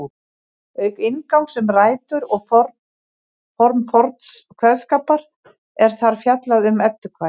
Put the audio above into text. Auk inngangs um rætur og form forns kveðskapar er þar fjallað um eddukvæði.